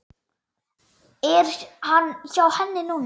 Er hann hjá henni núna?